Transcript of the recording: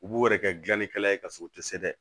U b'o yɛrɛ kɛ gilannikɛla ye ka sɔrɔ u ti se dɛ